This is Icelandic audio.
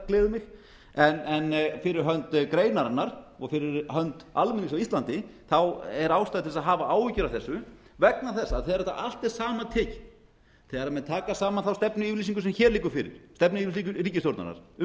gleður mig en fyrir hönd greinarinnar og fyrir hönd almennings á íslandi er ástæða til að hafa áhyggjur af þessu vegna þess að þegar þetta allt er saman tekið þegar menn taka saman þá stefnuyfirlýsingu sem hér liggur fyrir stefnuyfirlýsingu ríkisstjórnarinnar um